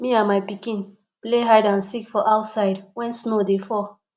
me and my pikin play hide and seek for outside wen snow dey fall